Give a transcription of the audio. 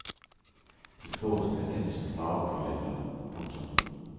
De fås blandt andet som farveblyanter. punktum